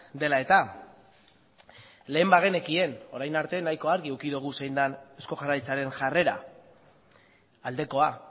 dela eta lehen bagenekien orain arte nahiko argi eduki dugu zein den eusko jaurlaritzaren jarrera aldekoa